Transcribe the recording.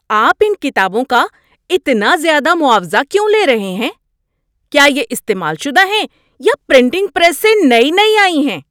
آپ ان کتابوں کا اتنا زیادہ معاوضہ کیوں لے رہے ہیں؟ کیا یہ استعمال شدہ ہیں یا پرنٹنگ پریس سے نئی نئی آئی ہیں؟